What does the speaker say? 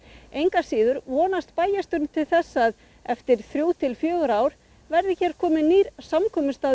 engu að síður vonast bæjarstjórinn til þess að eftir þrjú til fjögur ár verði hér kominn nýr samkomustaður